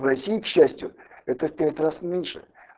в россии к счастью это в пять раз меньше